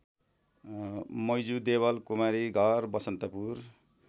Maju Deval Kumari Ghar Basantapur